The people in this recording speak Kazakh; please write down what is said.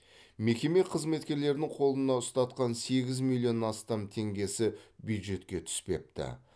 мекеме қызметкерінің қолына ұстатқан сегіз миллион астам теңгесі бюджетке түспепті